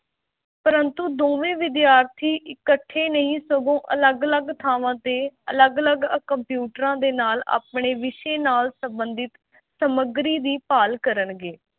ਪ੍ਰੰਤੂ ਦੋਵੇਂ ਵਿਦਿਆਰਥੀ ਇੱਕਠੇ ਨਹੀਂ ਸਗੋਂ ਅਲੱਗ-ਅਲੱਗ ਥਾਵਾਂ ਤੇ ਅਲੱਗ-ਅਲੱਗ ਕੰਪਿਊਟਰਾਂ ਦੇ ਨਾਲ ਆਪਣੇ ਵਿਸ਼ੇ ਨਾਲ ਸੰਬੰਧਿਤ ਸਮੱਗਰੀ ਦੀ ਭਾਲ ਕਰਨਗੇ।